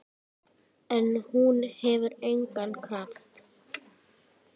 En hún hefur engan kraft.